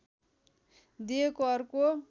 दिएको अर्को